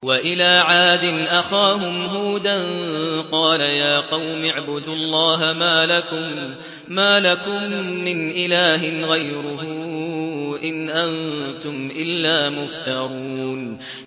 وَإِلَىٰ عَادٍ أَخَاهُمْ هُودًا ۚ قَالَ يَا قَوْمِ اعْبُدُوا اللَّهَ مَا لَكُم مِّنْ إِلَٰهٍ غَيْرُهُ ۖ إِنْ أَنتُمْ إِلَّا مُفْتَرُونَ